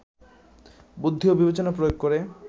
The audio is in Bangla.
বুদ্ধি ও বিবেচনা প্রয়োগ করে